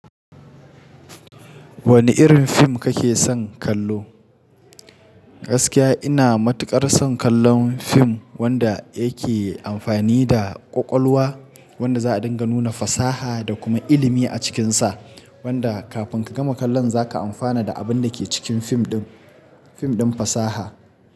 Wane irin fim kake son kallo? Gaskiya ina matuƙar son kallon fim wanda yake amfani da ƙwaƙwalwa, wanda za a dinga nuna fasaha da kuma ilimi a cikinsa, wanda kafin ka gama kallon za ka amfana da abin da ke cikin fim ɗin, fim ɗin fasaha.